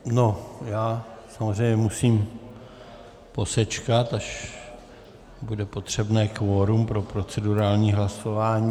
Já samozřejmě musím posečkat, až bude potřebné kvorum pro procedurální hlasování.